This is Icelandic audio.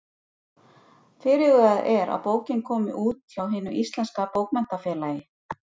Fyrirhugað er að bókin komi út hjá Hinu íslenska bókmenntafélagi.